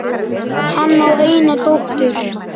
Hann á eina dóttur.